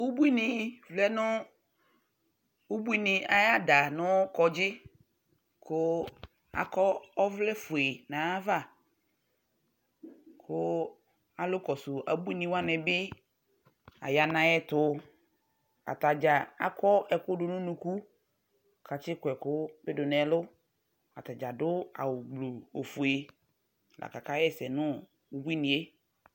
Ubuini vlɛ nʋ ʋbuini ay'ada nʋ kpadzi kʋ akɔ ɔvlɛ fue n'ay'ava kʋ alʋ kɔsʋ ebuini wanɩ bɩ aya n'ayɛtʋ, atadzaa akɔ ɛkʋ dʋ nʋ unuku, k'atsɩ kɔ ɛkʋ bɩ dʋ n'ɛlʋ, atadzaa adʋ awʋ gbluu ofue lakaka ɣɛsɛ nʋ ubuini yɛ